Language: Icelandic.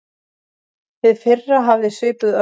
Hið fyrra hafði svipuð örlög.